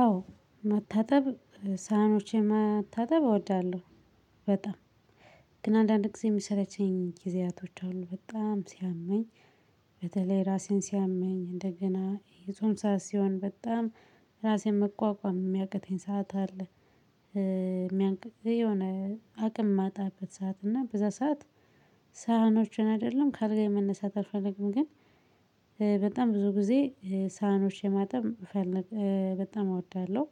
አዎ መታጠብ ሳህኖችን መታጠብ እወዳለው በጣም ግን አንዳንድ ጊዜ ሚሰለቸኝ ጊዜያቶች አሉ በጣም ሲያመኝ። በተለይ ራሴን ሲያመኝ እንደገና የጾም ሰዓት ሲሆን በጣም ራሴን መቋቋም ሚያቅተኝ ሰዓት አለ። የሆነ አቅም ማጣበት ሰዓት እና በዛ ሰዓት ሳህኖችን አይደለም ከ ኣልጋዬ መነሳት አልፈልግም። ግን በጣም ብዙ ጊዜ ሳህኖች የማጠብ እፈልጋ በጣም እወዳለው።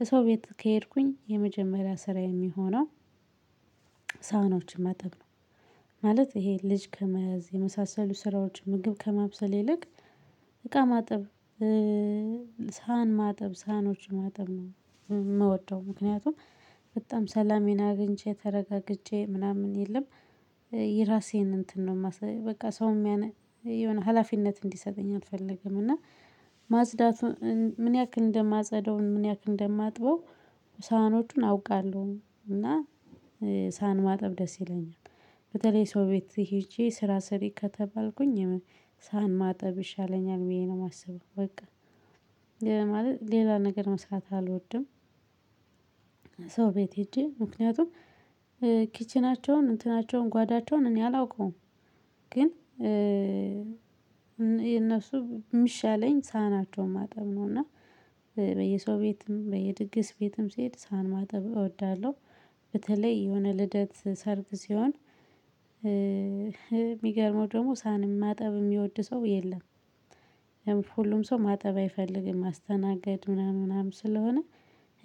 የሰው ቤት ከሄድኩኝ የመጀመሪያ ስራዬ የሚሆነው ሳህኖችን ማጠብ ነው። ማለት ይሄ ልጅ ከመያዝ የመሳሰሉ ስራዎች ምግብ ከማብሰል ይልቅ እቃ ማጠብ። ሳህን ማጠብ ሳህኖችን ማጠብ ነው ምወደው ምክንያቱም በጣም ሰላሜን አግኝቼ ተረጋግቼ ምናምን የለም። የራሴን እንትን ነው ማስበው በቃ ሰውም የሆነ ሀላፊነት እንዲሰጠኝ አልፈልግም። እና ማፅዳቱን ምን ያክል እንደማጸዳውን ምን ያክል እንደማጥበው ሳህኖቹን አውቃለው። እና ሳህን ማጠብ ደስ ይለኛል። በተለይ ሰው ቤት ሄጄ ስራ ስሪ ከተባልኩኝ ሳህን ማጠብ ይሻለኛል ብዬ ነው የማስበው በቃ። ሌላ ማለት ሌላ ነገር መስራት አልወድም። ሰው ቤት ሄጄ ምክንያቱም ኪችናቸውን እንትናቸውን ጓዳቸውን እኔ አላውቀውም። ግን የነሱ ሚሻለኝ ሳህናቸውን ማጠብ ነው። እና በየሰው ቤትም በየድግስ ቤትም ሲሄድ ሳህን ማጠብ እወዳለው። በተለይ የሆነ ልደት ሰርግ ሲሆን። ሚገርመው ደሞ ሳህን ማጠብ የሚወድ ሰው የለም። ሁሉም ሰው ማጠብ አይፈልግም ማስተናገድ ምናምን ምናምን ስለሆነ።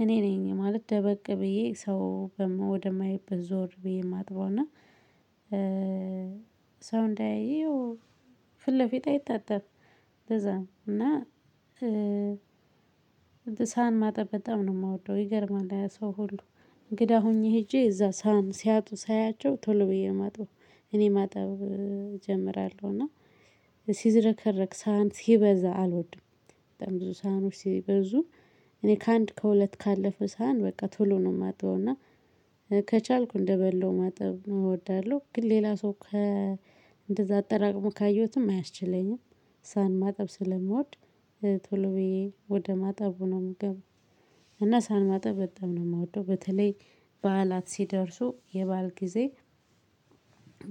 እኔ ነኝ ማለት ደበቅ ብዬ ሰው ወደ ማይበት ዞር ብዬ እማጥበው። እና ሰው እንዳያየው ፊት ለፊቴ አይታጠብም እንደዛ ነው። እና ሳሃን ማጠብ በጣም ነው ምወደው ይገርማል። ያ ሰው ሁሉ እንግዳ ሆኜ ሄጄ እዛ ሳህን ሲያጡ ሳያቸው ቶሎ ብዬ ማጥበው እኔ ማጠብ እጀምራለው። እና ሲዝረከረክ ሳህን ሲበዛ አልወድም። በጣም ብዙ ሳህኖች ሲበዙ እኔ ከአንድ ከሁለት ካለፈ ሳህን በቃ ቶሎ ነው እማጥበው። እና ከቻልኩ እንደበላው ማጠብ ነው እወዳለው። ግን ሌላ ሰው ከ እንደዛ አጠራቅሞ ካየሁትም አያስችለኝም። ሳሃን ማጠብ ስለምወድ ቶሎ ብዬ ወደ ማጠብ ሆኖ ምገባው። እና ሳሃን ማጠብ በጣም ነው ምወደው በተለይ። በዓላት ሲደርሱ የባዓል ጊዜ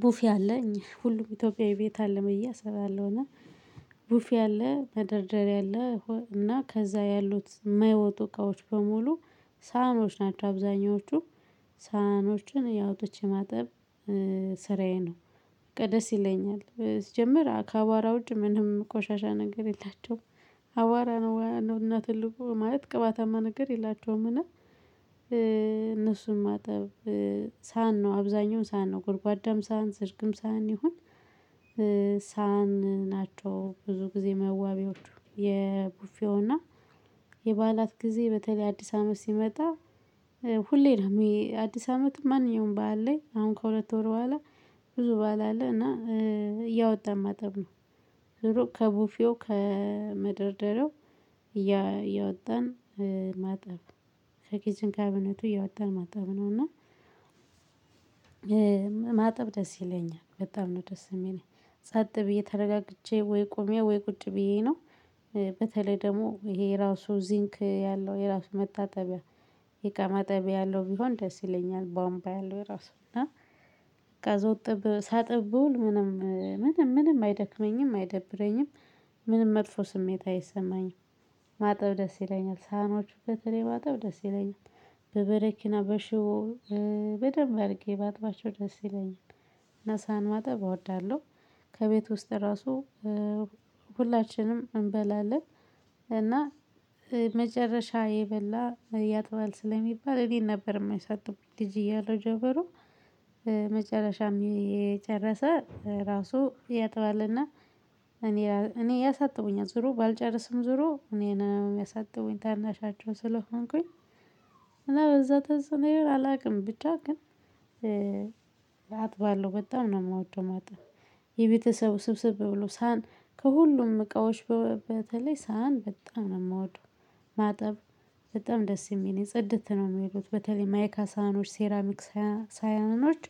ቡፌ አለኝ ሁሉም ኢትዮጵያዊ ቤት አለ ብየ አሰባለሁና። ቡፌ አለ መደርደሪያ አለ እና ከዛ ያሉት ማይወጡ እቃዎች በሙሉ ሳህኖች ናቸው አብዛኞቹ። ሳህኖችን ያው ኣውጥቼ ማጠብ ስራዬ ነው። በቃ ደስ ይለኛል ስጀምር ከአዋራ ውጭ ምንም ቆሻሻ ነገር የላቸውም። አዋራ ነው እና ትልቁ ማለት ቅባታማ ነገር የላቸውም እና። እነሱን ማጠብ ሳሃን ነው አብዛኛውን ሳሃን ነው ጎድጓዳም ሳሃን ሰርግም ሳሃን ይሁን። ሳሃን ናቸው ብዙ ጊዜ መዋቢዎቹ የቡፌው እና የበዓላት ጊዜ በተለይ አዲስ አመት ሲመጣ። ሁሌ ነው አዲስ አመት ማንኛውም ባዓል ላይ አሁን ከሁለት ወር በኋላ ብዙ ባዓል አለ እና እያወጣን ማጠብ ነው። ዙሮ ከቡፌው ከመደርደሪያው እያወጣን ማጠብ ከኪችን ካቢነቱ እያወጣን ማጠብ ነውና። ማጠብ ደስ ይለኛል በጣም ነው ደስ የሚለኝ ጸጥ ብዬ ተረጋግቼ ወይ ቆሜ ወይ ቁጭ ብዬ ነው። በተለይ ደግሞ ይሄ የራሱ ዚንክ ያለው የራሱ መታጠቢያ የእቃ ማጠቢያ ያለው ቢሆን ደስ ይለኛል። ቦምቧ ያለው ራሱ እና ከዛ እጥብ ሳጥብ ብውል ምንም ምንም ምንም አይደክመኝም አይደብረኝም። ምንም መጥፎ ስሜት አይሰማኝም። ማጠብ ደስ ይለኛል ሳህኖቹ በተለይ ማጠብ ደስ ይለኛል። በበረኪና በሽቦ በደንብ አርጌ ባጥባቸው ደስ ይለኛል። እና ሳሃን ማጠብ እወዳለው። ከቤት ውስጥ ራሱ ሁላችንም እንበላለን። እና መጨረሻ የበላ ያጥባል ስለሚባል እኔ ነበር እሚያሳጥቡኝ ልጅ እያለሁ ጀበሩ። መጨረሻም የጨረሰ ራሱ ያጥባል እና እኔ ያሳጥቡኛል ዙሮ ባልጨረስም ዙሮ እኔን ያሳጥቡኝ ታናሻቸው ስለሆንኩኝ። እና በዛ ተጽዕኖ ይሁን አላቅም ብቻ ግን አጥባለው በጣም ነው ምወደው። ማጠብ የቤተሰብ ስብስብ ብሎ ሳሃን ከሁሉም እቃዎች በተለይ ሳህን በጣም ነው እምወደው። ማጠብ በጣም ደስ የሚል ጽድት ነው እሚሉት በተለይ ማይካ ሳህኖች ሴራሚክ ሳያኖች።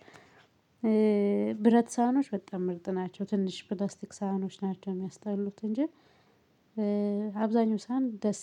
ብረት ሳህኖች በጣም ምርጥ ናቸው። ትንሽ ፕላስቲክ ሳህኖች ናቸው ሚያስጠሉት እንጂ አብዛኛው ሳህን ደስ